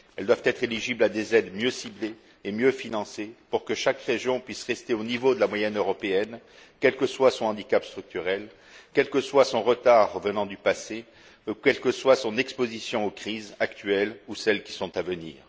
Elles doivent être éligibles à des aides mieux ciblées et mieux financées, pour que chaque région puisse rester au niveau de la moyenne européenne, quel que soit son handicap structurel, quel que soit son retard venant du passé, ou quelle que soit son exposition aux crises actuelles ou à celles qui sont à venir.